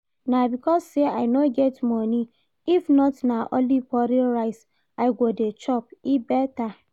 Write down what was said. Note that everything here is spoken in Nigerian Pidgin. Na because say I no get money, if not na only foreign rice I go dey chop, e better